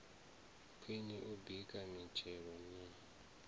khwine u baka mitshelo na